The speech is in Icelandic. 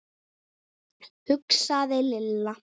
hugsaði Lilla.